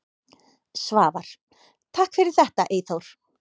Svavar: Takk fyrir þetta Eyþór.